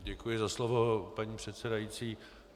Děkuji za slovo, paní předsedající.